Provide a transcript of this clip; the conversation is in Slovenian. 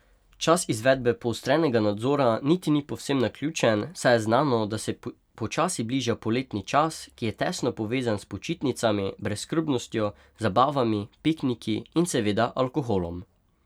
Čas izvedbe poostrenega nadzora niti ni povsem naključen, saj je znano, da se počasi bliža poletni čas, ki je tesno povezan s počitnicami, brezskrbnostjo, zabavami, pikniki in seveda alkoholom.